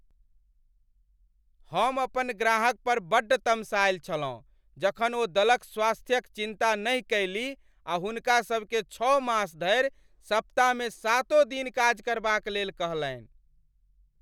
हम अपन ग्राहक पर बड्ड तमसायल छलहुँ जखन ओ दलक स्वास्थ्यक चिन्ता नहि कयलीह आ हुनका सबकेँ छओ मास धरि सप्ताहमे सातो दिन काज करबाक लेल कहलनि।